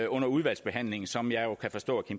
under udvalgsbehandlingen som jeg kan forstå